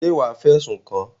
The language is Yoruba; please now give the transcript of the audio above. Ṣé wàá fẹ̀sùn kàn án?